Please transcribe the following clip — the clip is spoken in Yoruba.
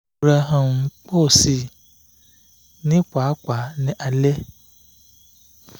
irora um po si ni papa ni ale